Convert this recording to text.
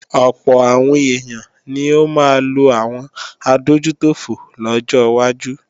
Ọ̀pọ̀ àwọn èèyàn ni ó máa lo àwọn adójútòfò lọ́jọ́ wájú